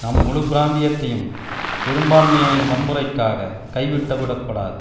நாம் முழு பிராந்தியத்தையும் சிறுபான்மையினரின் வன்முறைக்காக கைவிட்டு விடக்கூடாது